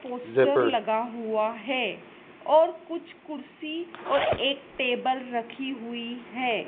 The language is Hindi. पोस्टर लगा हुआ है और कुछ कुर्सी और एक टेबल रखी हुई है।